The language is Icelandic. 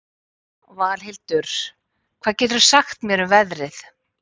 Valhildur, hvað geturðu sagt mér um veðrið?